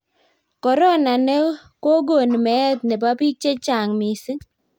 korona ne kogon meet nebo bik chechang mising